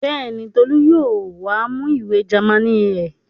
Bẹ́ẹ̀ni, Tolú yóò wá mú ìwé Jámánì ẹ̀.